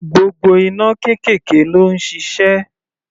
Gbogbo iná kẹ̀kẹ́ ló ń ṣiṣẹ́.